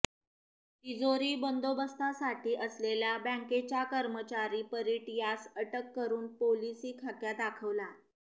तिजोरी बंदोबस्तासाठी असलेला बँकेचा कर्मचारी परीट यास अटक करून पोलिसी खाक्या दाखवला